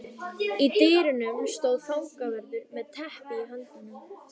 Í dyrunum stóð fangavörður með teppi í höndunum.